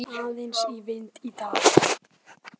Bætir aðeins í vind í dag